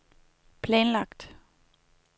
planlagt